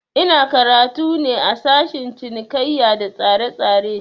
Ina karatu ne a sashen cinikaiya da tsaretsare